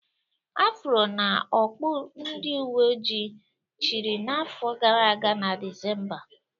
Afro na okpu ndị uwe ojii chịrị n'afọ gara aga na Disemba